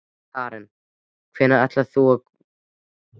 Karen: Hvenær heldur þú að gosinu ljúki?